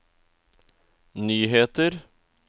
nyheter